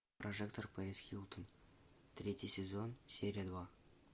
прожектор перис хилтон третий сезон серия два